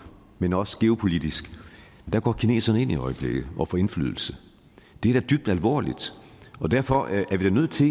men også geopolitisk går kineserne ind i øjeblikket og får indflydelse det er da dybt alvorligt og derfor er vi nødt til